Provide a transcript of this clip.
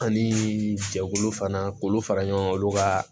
Anii jɛkulu fana k'olu fara ɲɔgɔn kan olu ka